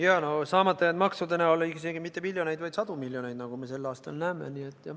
Jaa, no saamata jäänud maksude näol isegi mitte miljoneid, vaid sadu miljoneid, nagu me sel aastal näeme.